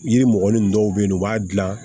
Yiri mɔgɔnin dɔw be yen nɔ u b'a gilan